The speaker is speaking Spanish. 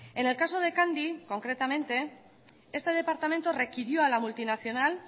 en el caso de candy concretamente este departamento requirió a la multinacional